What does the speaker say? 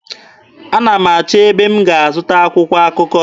Ana m achọ ebe m ga-azụta akwụkwọ akụkọ.